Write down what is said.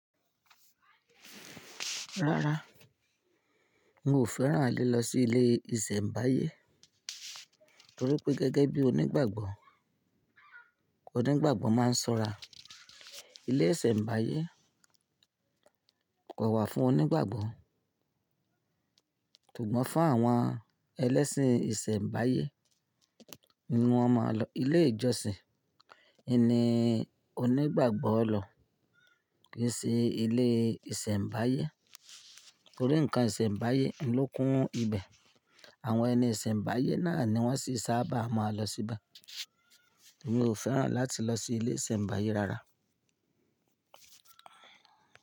Rárá, hun o fẹ́ràn le lọ sí ilé ìsẹ̀mbáyé torí pé gẹ́gẹ́ bí onígbàgbọ́, onígbàgbọ́ máa ń ṣọ́ra. Ilé ìsẹ̀mbáyé kò wà fún onígbàgbọ́, sugbọ́n fún àwọn ẹlẹ́sìn ìsẹ̀mbáyé. N nu ọmọ lọ ilé ìjọsìn, ẹni onígbàgbọ́ lọ kì í sí ilé ìsẹ̀mbáyé torí ǹkan ìsẹ̀mbáyé ló kún ibẹ̀. Àwọn ẹni ìsẹ̀mbáyé náà ni wọ́n sì sábà máa lọ síbẹ̀. Hun o fẹ́ràn láti lọ sí ilé ìsẹ̀mbáyé rárá.